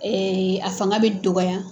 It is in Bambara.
a fanga bɛ dɔgɔya.